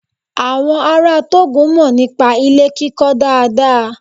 Àwọn ará Tógò mọ̀ nípa ilé kíkọ dáadáa.